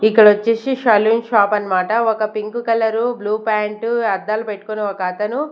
ఇక్కడ వచ్చేసి salon shop అన్నమాట ఒక పింక్ కలర్ బ్లూ పాంట్ అద్దాలు పెట్టుకొని ఒక అతను.